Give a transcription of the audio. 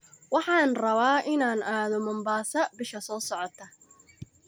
Waxaan rabaa in aan aado Mombasa bisha soo socota